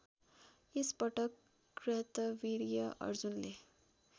एकपटक कार्तवीर्य अर्जुनले